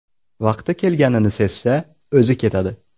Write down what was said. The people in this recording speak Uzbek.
Vaqti kelganini sezsa, o‘zi ketadi.